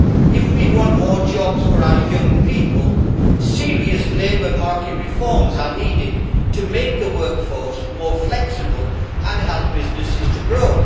if we want more jobs for our young people, serious labour market reforms are needed to make the workforce more flexible and help businesses to grow.